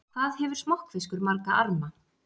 Hvað hefur smokkfiskur marga arma?